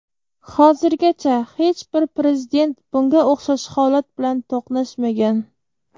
Hozirgacha hech bir Prezident bunga o‘xshash holat bilan to‘qnashmagan.